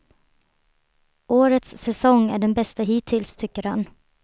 Årets säsong är den bästa hittills, tycker han.